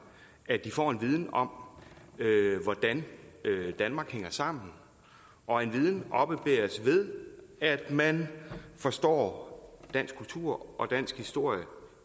at de får en viden om hvordan danmark hænger sammen og en viden oppebæres ved at man forstår dansk kultur og dansk historie